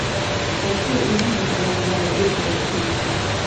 хочу увидеть голубая бездна четыре ка